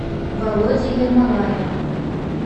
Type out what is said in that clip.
володи ермолаева